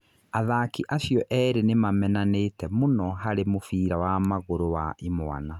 Athaki acio erĩ nĩ ma-menanĩte mũno harĩ mũbira wa magũrũ wa imwana.